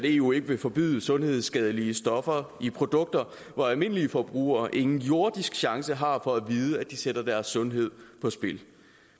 eu ikke vil forbyde sundhedsskadelige stoffer i produkter hvor almindelige forbrugere ingen jordisk chance har for at vide at de sætter deres sundhed på spil